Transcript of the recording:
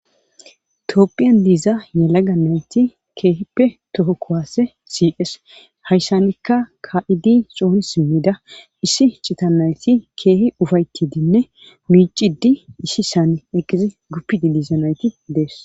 toopphiyan diiza yalaga nayti keehippe toho kowaase siqes hayshanikka ka7idi xoni simmida issi cita nayti keehi ufaytidinne miicidi issi saani eqqizi guppidi diiza nayti dees